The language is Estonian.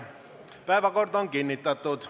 Päevakord on kinnitatud.